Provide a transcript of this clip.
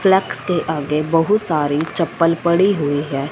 Flex के आगे बहुत सारी चप्पल पड़ी हुई है।